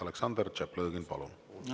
Aleksandr Tšaplõgin, palun!